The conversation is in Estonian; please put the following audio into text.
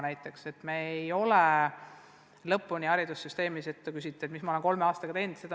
Te küsite, mis ma olen kolme aastaga teinud.